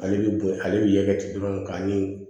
Ale bɛ bon ale bɛ kɛ ten dɔrɔn k'a ni